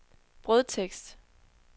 brødtekst